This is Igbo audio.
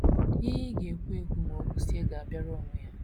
Ihe ị ga - ekwu - ekwu ma o kwusịa ga - abịara onwe ya.